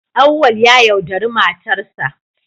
Auwal ya yaudari matarsa